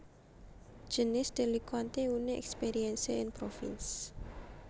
Jeunesse délinquante Une expérience en province